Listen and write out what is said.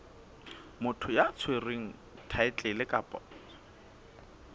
motho ya tshwereng thaetlele kapa